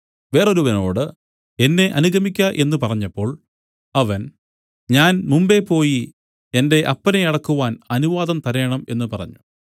വേറൊരുവനോട് എന്നെ അനുഗമിക്ക എന്നു പറഞ്ഞപ്പോൾ അവൻ ഞാൻ മുമ്പെ പോയി എന്റെ അപ്പനെ അടക്കുവാൻ അനുവാദം തരേണം എന്നു പറഞ്ഞു